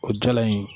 O jala in